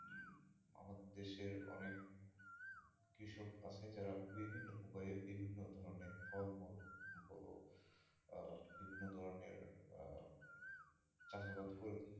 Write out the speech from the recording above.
দেশের অনেক কৃষক আছে যারা বিভিন্ন উপায়ে বিভিন্ন ধরনের ফল মূল বলো আহ বিভিন্ন ধরনের আহ চাষাবাদ করেছে।